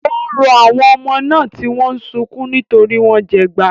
Ó ń rọ àwọn ọmọ náà, tí wọ́n ń sunkún nítorí wọ́n jẹgba.